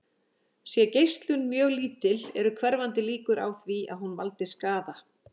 Sé geislun mjög lítil eru hverfandi líkur á því að hún valdi skaða.